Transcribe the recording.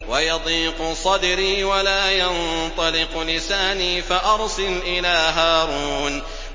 وَيَضِيقُ صَدْرِي وَلَا يَنطَلِقُ لِسَانِي فَأَرْسِلْ إِلَىٰ هَارُونَ